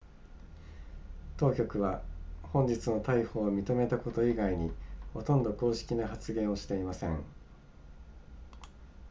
当局は本日の逮捕を認めたこと以外にほとんど公式な発言をしていません